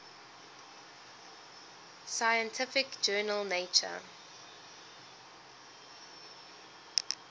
scientific journal nature